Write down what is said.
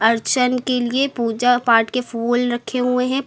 के लिए पूजा पाठ के फूल रखे हुए हैं।